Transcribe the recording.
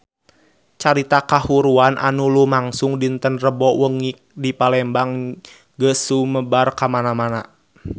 Carita kahuruan anu lumangsung dinten Rebo wengi di Palembang geus sumebar kamana-mana